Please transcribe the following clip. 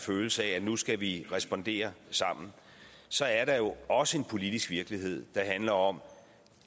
følelse af at nu skal vi respondere sammen så er der jo også en politisk virkelighed der handler om